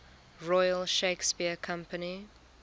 royal shakespeare company